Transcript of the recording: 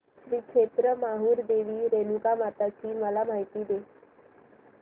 श्री क्षेत्र माहूर देवी रेणुकामाता ची मला माहिती दे